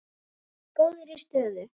Ég er í góðri stöðu.